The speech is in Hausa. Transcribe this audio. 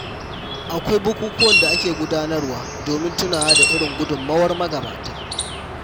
Akwai bukukkuwan da ake gudanarwa domin tunawa da irin gudunmuwar magabata.